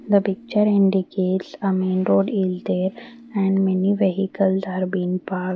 the picture indicates a main road is there and many vehicles are been parked.